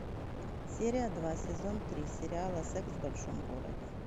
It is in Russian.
серия два сезон три сериала секс в большом городе